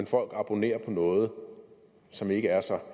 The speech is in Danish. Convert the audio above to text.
folk abonnerer på noget som ikke er så